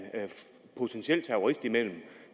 potentiel terrorist imellem og